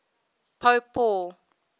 pope paul